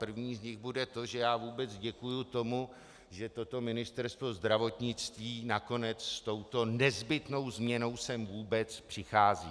První z nich bude to, že já vůbec děkuju tomu, že toto Ministerstvo zdravotnictví nakonec s touto nezbytnou změnou sem vůbec přichází.